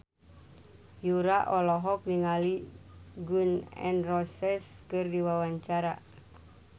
Yura olohok ningali Gun N Roses keur diwawancara